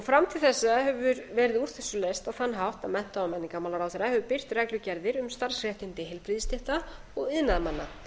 fram til þessa hefur verið úr þessu leyst á þann hátt að mennta og menningarmálaráðherra hefur birt reglugerðir um starfsréttindi heilbrigðisstétta og iðnaðarmanna